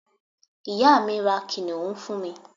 ìyá mi, ra kìnìún fún mi